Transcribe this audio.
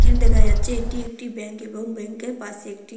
দেখা যাচ্ছে এটি একটি ব্যাংক এবং ব্যাংকের পাশে একটি--